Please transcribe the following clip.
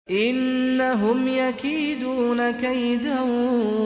إِنَّهُمْ يَكِيدُونَ كَيْدًا